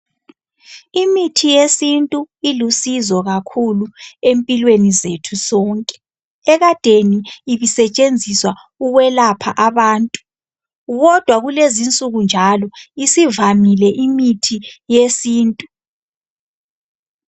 Imithi yesintu ilusizo kakhulu empilweni zethu sonke ekadeni ibisetshenziswa ukwelapha abantu kodwa kulezinsuku njalo isivamile imithi yesintu.